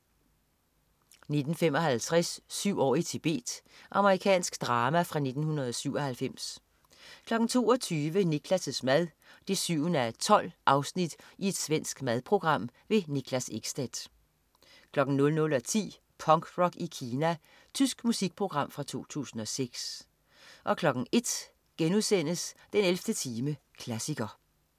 19.55 Syv år i Tibet. Amerikansk drama fra 1997 22.00 Niklas' mad 7:12. Svensk madprogram. Niklas Ekstedt 00.10 Punkrock i Kina. Tysk musikprogram fra 2006 01.00 den 11. time, klassiker*